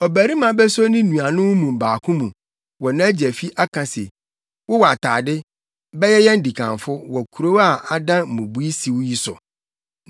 Ɔbarima beso ne nuanom mu baako mu wɔ nʼagya fi aka se, “Wowɔ atade, bɛyɛ yɛn dikanfo; wɔ kurow a adan mmubui siw yi so.”